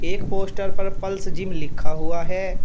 एक पोस्टर पर Pulse Gym लिखा हुआ है।